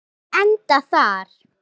Munum við enda þar?